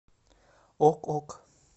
ок ок